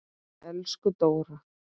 Elsku Dóra.